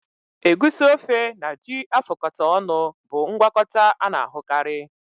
Egusi ofe na ji afụkọta ọnụ bụ ngwakọta a na-ahụkarị